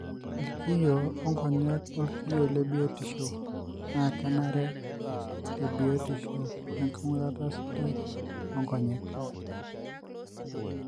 ilkiyio o-nkonyek olkiyio lebiotisho na kenare te biotisho we ngurata sidai onkonyek.